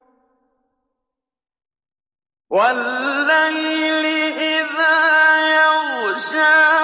وَاللَّيْلِ إِذَا يَغْشَىٰ